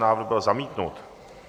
Návrh byl zamítnut.